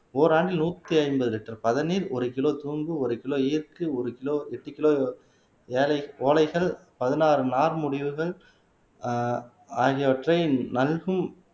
ஓராண்டில் நூத்தி ஐம்பது லிட்டர் பதநீர் ஒரு கிலோ சோம்பு ஒரு கிலோ ஈர்க்கு ஒரு கிலோ எட்டு கிலோ எலைகள் ஓலைகள் பதினாறு நார்முடிவுகள் ஆஹ் ஆகியவற்றை நல்கும்